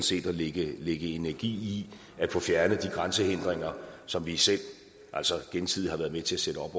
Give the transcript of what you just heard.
set at lægge energi i at få fjernet de grænsehindringer som vi selv gensidigt har været med til at sætte op